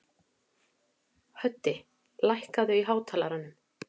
Höddi, lækkaðu í hátalaranum.